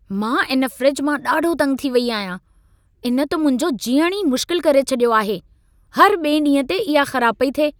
मां इन फ़्रिज मां ॾाढो तंग थी वेई आहियां। इन त मुंहिंजो जीअणु ही मुश्किल करे छॾियो आहे। हर ॿिएं ॾींहं ते इहा ख़राब पई थिए।